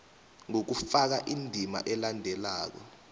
ngokufaka indima elandelako